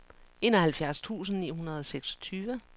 enoghalvfjerds tusind ni hundrede og seksogtyve